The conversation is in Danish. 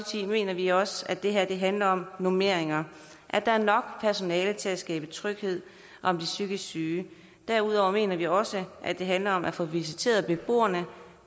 mener vi også at det her handler om normeringer at der er nok personale til at skabe tryghed om de psykisk syge derudover mener vi også at det handler om at få visiteret beboerne